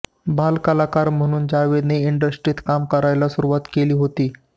बालकलाकार म्हणून जावेदने इंडस्ट्रीत काम करायला सुरुवात केली होती